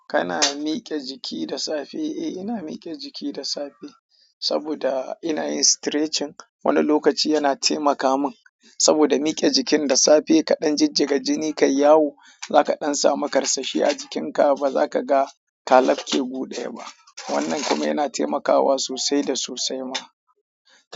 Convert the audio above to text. Kana mike jiki da safe? Eh ina mike jiki da safe saboda ina yin stretching. Wani lokaci yana taimaka min saboda mike jikin da safe kaɗan jijjiga jini kayi yawo. Zaka ɗan samu ƙarsashi a jikinka ba zaka ga ka lafke gu ɗaya ba. Wannan kuma yana taimakawa sosai da sosai ma.